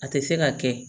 A tɛ se ka kɛ